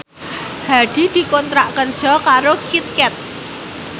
Hadi dikontrak kerja karo Kit Kat